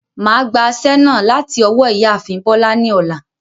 Màá gba aṣẹ́ náà láti ọwọ́ ìyáàfin Bọ́lá ni ọ̀la.